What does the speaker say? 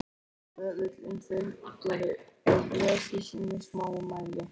Böðullinn þuldi og blés í sínu smámæli